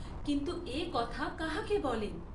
কিন্তু এ কথা কাহাকে বলেন?